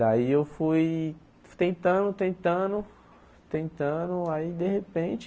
Daí eu fui tentando, tentando, tentando, aí de repente,